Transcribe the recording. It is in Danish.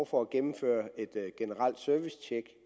for at gennemføre et generelt servicetjek